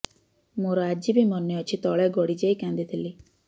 ମୋର ଆଜିବି ମନେ ଅଛି ତଳେ ଗଡି ଯାଇ କାନ୍ଦି ଥିଲି